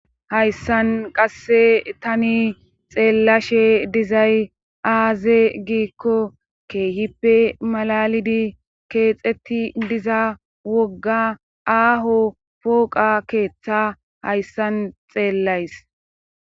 Hayssan qasse tani xeellashe dizay aaze giikko keehippe malalidi keexetti diza wogga aaho pooqa keeththa hayssan xeellays.